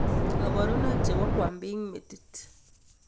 Koborunoik chebo kwambiik metit